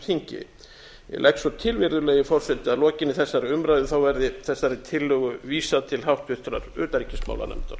þingi ég legg svo til virðulegi forseti að lokinni þessari umræðu verði þessari tillögu vísað til háttvirtrar utanríkismálanefndar